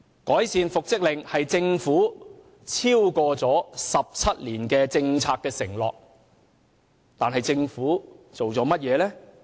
改善復職令是政府超過17年的政策承諾，但政府做過甚麼？